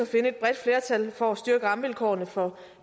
finde et bredt flertal for at styrke rammevilkårene for